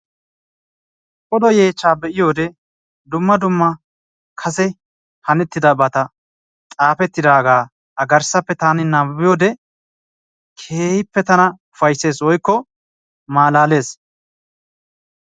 Odo yeechchaa be"iyode dumma kase hanettidabata xaafettidaagaa a garssappe taani nabbabiyoode keehippe tana ufayisses woykko malaales.